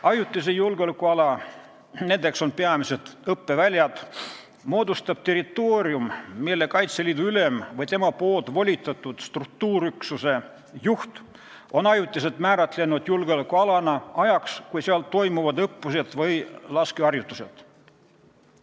Ajutise julgeolekuala – selleks on peamiselt õppeväljad – moodustab territoorium, mille Kaitseliidu ülem või tema volitatud struktuuriüksuse juht on ajutiselt määratlenud julgeolekualana ajaks, kui seal toimuvad õppused või laskeharjutused.